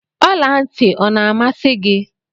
Ọla ntị ọ na-amasi gị?